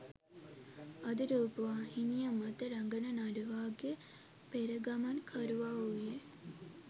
අද රූපවාහිනිය මත රඟන නළුවාගේ පෙරගමන්කරුවා වූයේ